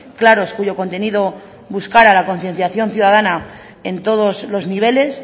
claros cuyo contenido buscar a la concienciación ciudadana en todos los niveles